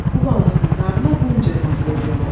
Bu balasının qarnına qum cırmaqlayıb yığdı.